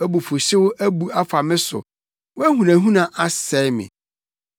Wʼabufuwhyew abu afa me so; wʼahunahuna asɛe me.